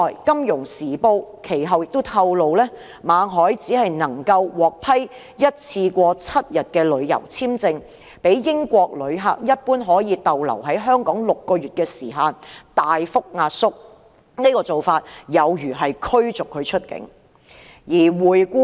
《金融時報》其後亦透露，馬凱只獲批單次7天的旅遊簽證，較英國旅客一般可以留港6個月的時限大幅壓縮，此做法有如把他驅逐出境。